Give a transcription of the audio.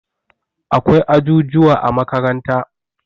Akwai ajujuwa a makaranta.